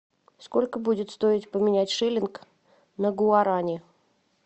сколько будет стоить поменять шиллинг на гуарани